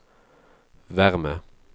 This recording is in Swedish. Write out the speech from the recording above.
värme